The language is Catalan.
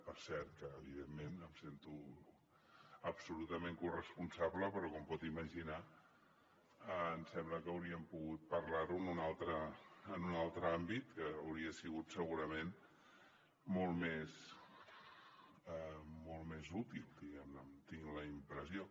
per cert que evidentment em sento absolutament corresponsable però com pot imaginar em sembla que hauríem pogut parlar ho en un altre àmbit que hauria sigut segurament molt més útil diguem ne tinc la impressió